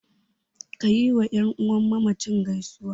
Ka yiwa ƴan uwan mamacin gaisuwa.